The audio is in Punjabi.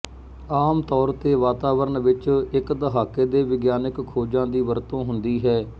ਆਮ ਤੌਰ ਤੇ ਵਾਤਾਵਰਣ ਵਿੱਚ ਇੱਕ ਦਹਾਕੇ ਦੇ ਵਿਗਿਆਨਕ ਖੋਜਾਂ ਦੀ ਵਰਤੋਂ ਹੁੰਦੀ ਹੈ